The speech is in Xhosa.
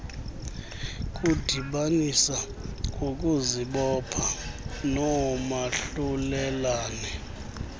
kudibanisa ngokuzibopha noomahlulelane